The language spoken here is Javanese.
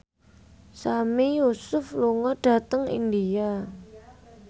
Sami Yusuf lunga dhateng India